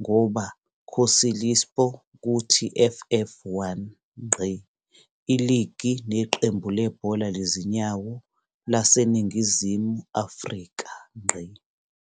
ngoba Kocaelispor ku TFF 1. Iligi neqembu lebhola lezinyawo laseNingizimu Afrika.